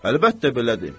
Əlbəttə, belədir.